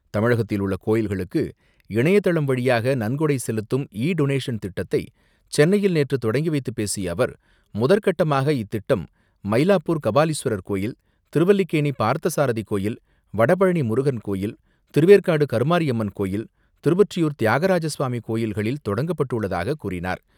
தமிழகத்தில் உள்ள கோயில்களுக்கு இணையதளம் வழியாக நன்கொடை செலுத்தும் இ டொனேஷன் திட்டத்தை சென்னையில் நேற்று தொடங்கி வைத்துப்பேசிய அவர், முதற்கட்டமாக இத்திட்டம் மயிலாப்பூர் கபாலீஸ்வரர் கோயில், திருவல்லிக்கேணி பார்த்தசாரதி கோயில், வடபழனி முருகன் கோயில், திருவேற்காடு கருமாரியம்மன் கோயில் திருவொற்றியூர் தியாகராஜஸ்வாமி கோயில்களில் தொடங்கப்பட்டுள்ளதாக கூறினார்.